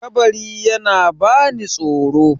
kabari yana bani tsoro